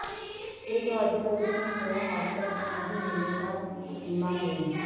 ਜੇ ਤੁਹਾਡੀ ਗਲਤੀ ਨਾਲ ਹੋਇਆ ਹਾਦਸਾ ਤਾਂ ਨਹੀਂ ਮਿਲੇਗਾ ਬੀਮਾ ਕਲੇਮ